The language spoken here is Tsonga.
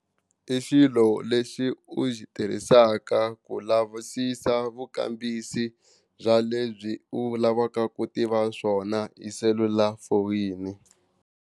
I xilo lexi u xi tirhisaka ku lavisisa vukambisi bya lebyi u lavaka ku tiva swona hi selulafoyini.